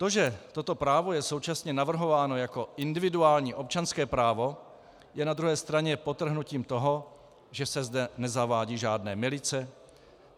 To, že toto právo je současně navrhováno jako individuální občanské právo, je na druhé straně podtrhnutím toho, že se zde nezavádějí žádné milice.